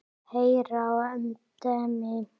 Heyr á endemi.